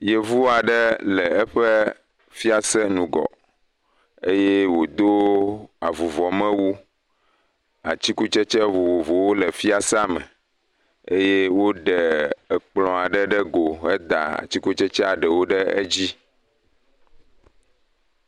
Yevu aɖe le eƒe fiase ŋgɔ eye wòdo evuvɔmewu, atikutsetse vovovowo le fiasea me eye woɖe ekplɔ aɖe ɖe go heda atikutsetse ɖewo ɖe edzi.